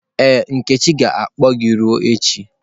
Ee, nkechi ga-ekpu gị ruo echi.